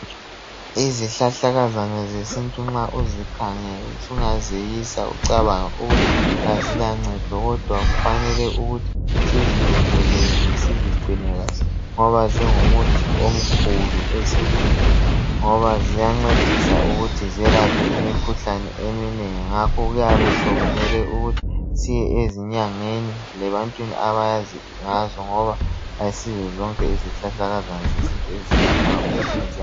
Izihlahlakazana zesintu nxa uzikhangele sungazeyisa ucabange ukuthi azilancedo kodwa kufanele ukuthi sizilondoloze sizigcine kahle ngoba zingumuthi omkhulu esintwini ngoba ziyancedisa ukuthi zelaphe imkhuhlane eminengi ngakho kuyabe sekumele ukuthi siyezinyangeni lebantwini abazi ngazo ngoba ayisizo zonke izihlahlakazana zesintu ezelaphayo ezinye ziya.